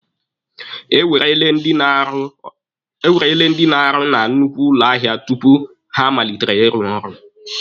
E werele ndị na-arụ na nnukwu ụlọ ahịa tupu ha amalite ịrụ ọrụ.